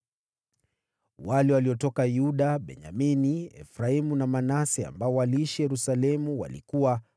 Wale waliotoka Yuda, Benyamini, Efraimu na Manase ambao waliishi Yerusalemu walikuwa: